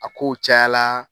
A ko caya la